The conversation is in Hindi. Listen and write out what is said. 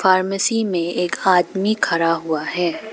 फार्मेसी में एक आदमी खड़ा हुआ है।